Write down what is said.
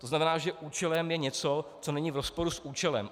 To znamená, že účelem je něco, co není v rozporu s účelem.